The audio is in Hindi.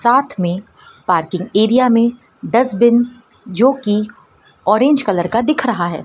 साथ में पार्किंग एरिया में डस्टबिन जोकि ऑरेंज कलर का दिख रहा है।